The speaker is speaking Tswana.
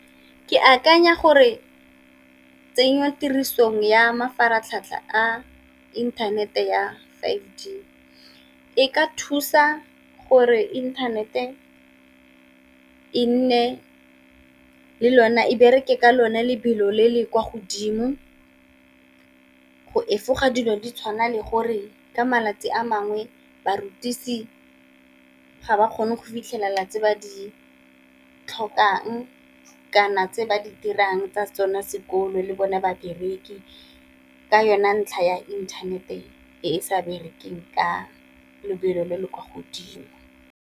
Ke akanya gore tsenyo tirisong ya mafaratlhatlha a inthanete ya five G e ka thusa gore internet-e e nne le lona, e bereke ka lona lebelo le le kwa godimo go efoga dilo di tshwana le gore ka malatsi a mangwe barutisi ga ba kgone go fitlhelela tse ba di tlhokang, kana tse ba di dirang tsa tsone sekolo le bone babereki, ka yone ntlha ya inthanete e e sa berekang ka lebelo le le kwa godimo.